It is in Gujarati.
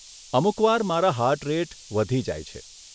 અમુક વાર મારા હાર્ટ રેટ વધી જાય છે.